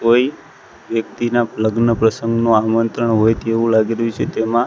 કોઈ વ્યક્તિના લગ્ન પ્રસંગનું આમંત્રણ હોય તેવું લાગી રહ્યું છે તેમાં.